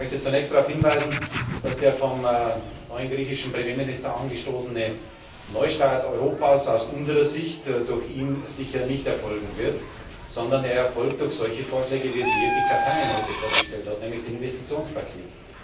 Ich möchte zunächst darauf hinweisen, dass der vom neuen griechischen Premierminister angestoßene Neustart Europas aus unserer Sicht durch ihn sicher nicht erfolgen wird, sondern er erfolgt durch solche Vorschläge, wie sie Jyrki Katainen heute vorgestellt hat, nämlich das Investitionspaket.